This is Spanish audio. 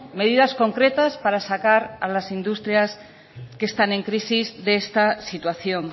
medidas concretas para sacar a las industrias que están en crisis de esta situación